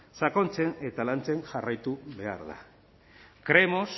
sakontzen eta lantzen jarraitu behar da creemos